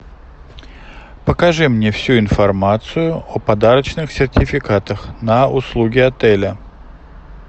покажи мне всю информацию о подарочных сертификатах на услуги отеля